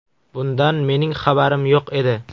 Bundan mening xabarim yo‘q edi.